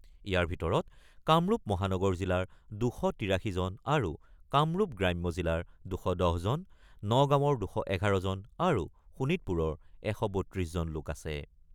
ইয়াৰ ভিতৰত কামৰূপ মহানগৰ জিলাৰ ২৮৩জন আৰু কামৰূপ গ্ৰাম্য জিলাৰ ২১০জন, নগাঁৱৰ ২১১ জন আৰু শোণিতপুৰৰ ১৩২জন লোক আছে।